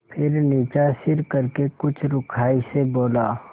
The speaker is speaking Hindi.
फिर नीचा सिर करके कुछ रूखाई से बोला